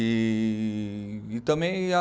E e também a